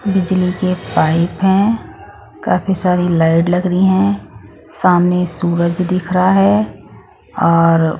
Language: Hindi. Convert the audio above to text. बिजली के पाइप हैं काफी सारी लाइट लग रही हैं सामने सूरज दिख रहा है और--